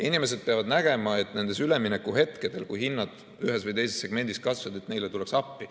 Inimesed peavad nägema, et nendel üleminekuhetkedel, kui hinnad ühes või teises segmendis kasvavad, tullakse neile appi.